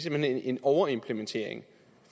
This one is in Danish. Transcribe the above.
hen en overimplementering